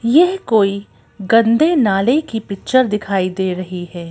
यह कोई गंदे नाले की पिक्चर दिखाई दे रही है।